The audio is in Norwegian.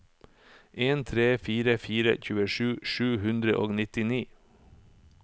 en tre fire fire tjuesju sju hundre og nittini